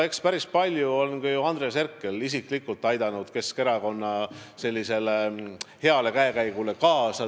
Eks päris palju on ka ju Andres Herkel isiklikult aidanud Keskerakonna heale käekäigule kaasa.